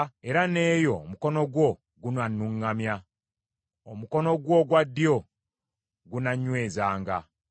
era n’eyo omukono gwo gunannuŋŋamya, omukono gwo ogwa ddyo gunannywezanga.